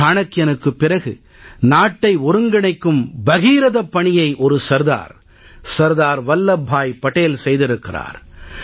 சாணக்கியனுக்குப் பிறகு நாட்டை ஒருங்கிணைக்கும் பகீரதப் பணியை ஒரு சர்தார் சர்தார் வல்லப் பாய் படேல் செய்திருக்கிறார்